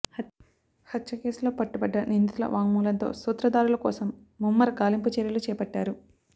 హత్యకేసులో పట్టుబడ్డ నిందితుల వాంగ్మూలంతో సూత్రదారుల కోసం ముమ్మర గాలింపు చర్యలు చేపట్టారు